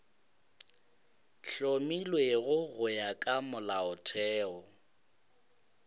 hlomilwego go ya ka molaotheo